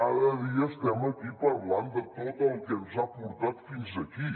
cada dia estem aquí parlant de tot el que ens ha portat fins aquí